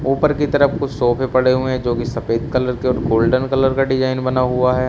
ऊपर की तरफ कुछ सोफे पड़े हुए हैं जो की सफेद कलर के गोल्डन कलर का डिजाइन बना हुआ है।